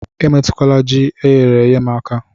Emetụkwala Ji eyere èyé m aka